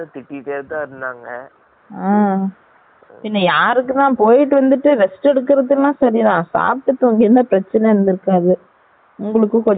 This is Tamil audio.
பின்ன யாருக்கு தான் பேய்ட்டு வந்து rest எடுடக்கரது எல்லாம் சரி தான் சாப்ட்டு தூங்கினா ப்ரச்சன இருந்து இருகாது உங்கலுக்கு ஃப ftree ய இருந்திருக்கும்